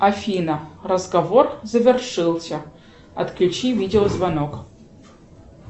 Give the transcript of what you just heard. афина разговор завершился отключи видеозвонок